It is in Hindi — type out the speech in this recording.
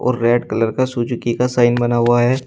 रेड कलर का सुजुकी का साइन बना हुआ है।